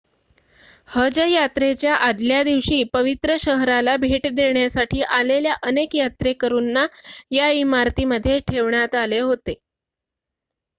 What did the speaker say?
हज यात्रेच्या आदल्यादिवशी पवित्र शहराला भेट देण्यासाठी आलेल्या अनेक यात्रेकरूंना या इमारतीमध्ये ठेवण्यात आले होते